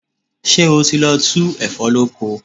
Ṣé o ti lọ tu ẹ̀fọ́ lóko?